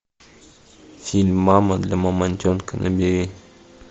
фильм мама для мамонтенка набери